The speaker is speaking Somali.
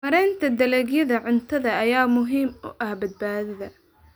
Maareynta dalagyada cuntada ayaa muhiim u ah badbaadada.